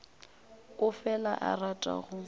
o fela a rata go